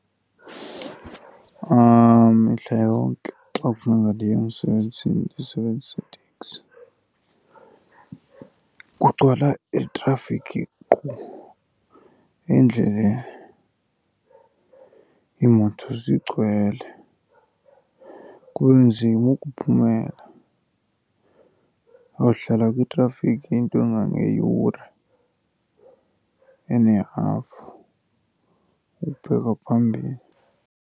Mihla yonke xa kufuneka ndiye emsebenzini ndisebenzisa iteksi. Kugcwala itrafikhi qhu endleleni, iimoto zigcwele, kube nzima ukuphumela. Uyawuhlala kwitrafikhi into engangeyure enehafu ukubheka phambili.